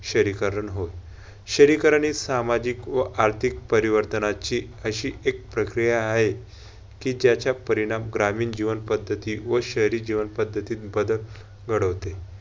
शहरीकरण होय. शहरीकरण हि सामाजिक व आर्थिक परिवर्तनाची अशी एक प्रक्रिया हाय कि ज्याचा परिणाम ग्रामीण जीवन पद्धती व शहरी जीवन पद्धतीत बदल घडवते.